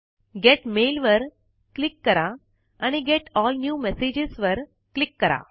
gate mail वर click करा आणि गेट एल न्यू मेसेजेस वर क्लिक करा